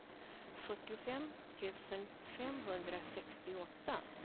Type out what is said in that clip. fyrtiofem tusen femhundrasextioåtta